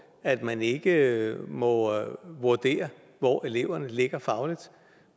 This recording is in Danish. at man ikke må vurdere hvor eleverne ligger fagligt